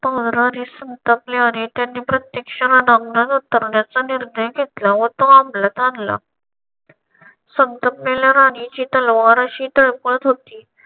महाराणी संतापली आणि त्यांनी प्रत्यक्ष उतरण्याचा निर्णय घेतला व तो अमलात आणला. संतापलेल्या राणीची तलवार अशी तळपत होती.